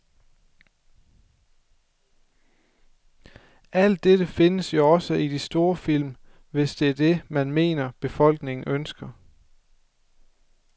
Alt dette findes jo også i de store film, hvis det er det, man mener, befolkningen ønsker.